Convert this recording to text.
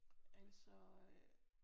Altså øh